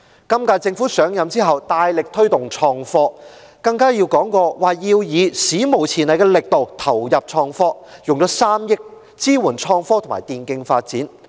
本屆政府上任後大力推動創科，更提過要以"史無前例的力度投入創科"，斥資3億元支援創科和電競發展。